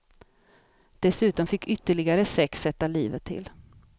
Dessutom fick ytterligare sex sätta livet till.